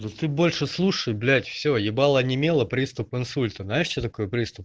да ты больше слушай блять всё ебало онемело приступ инсульта знаешь что такое приступ